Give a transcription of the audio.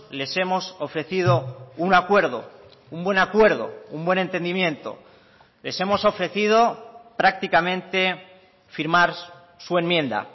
les hemos ofrecido un acuerdo un buen acuerdo un buen entendimiento les hemos ofrecido prácticamente firmar su enmienda